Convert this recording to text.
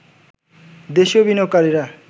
দেশীয় বিনিয়োগকারীরা